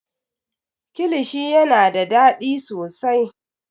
kilishi yana da daɗi sosai